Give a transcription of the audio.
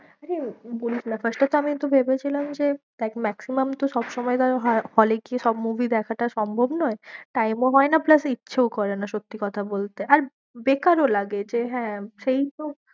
আরে বলিস না first এ তো আমি একটু ভেবেছিলাম যে দেখ maximum তো সবসময় hall এ গিয়ে সব movie দেখাটা সম্ভব নয় time ও হয় না plus ইচ্ছেও করে না, সত্যি কথা বলতে আর বেকারও লাগে যে হ্যাঁ, সেই তো